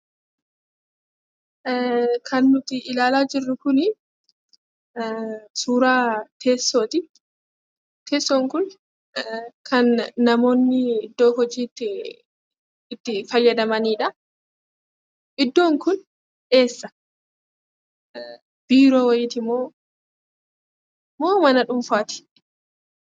Kan nuti ilaalaa jirru kun suuraa teessooti. Teessoon kun kan namoonni iddoo hojiitti itti fayyadamanidha. Iddoon kun eessa? Biiroo wayiiti moo mana dhuunfaati?